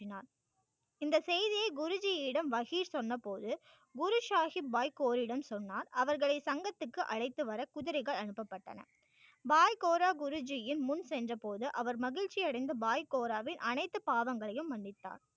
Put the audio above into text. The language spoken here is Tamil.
இந்த செய்தியை குருஜியிடம் மஹி சொன்னபோது சொன்னார் அவர்களை சங்கத்திற்கு அழைத்து வர குதிரைகள் அனுப்பப்பட்டன பாய் கோரா குருஜியின் முன் சென்ற போது அவர் மகிழ்ச்சி அடைந்து பாய் கோராவில் அனைத்து பாவங்களையும் மன்னித்தார்